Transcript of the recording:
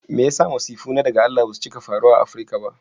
Me yasa masifu na daga Allah basu fiiye faruwa a Africa ba?